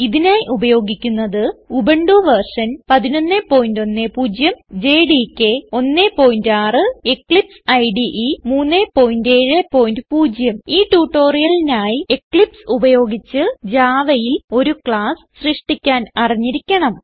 ഇതിനായി ഉപയോഗിക്കുന്നത് Ubuntu version 1110 JDK 16 Eclipse ഇടെ 370 ഈ ട്യൂട്ടോറിയലിനായി എക്ലിപ്സ് ഉപയോഗിച്ച് Javaയിൽ ഒരു ക്ലാസ് സൃഷ്ടിക്കാൻ അറിഞ്ഞിരിക്കണം